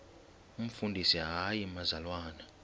umfundisi hayi mzalwana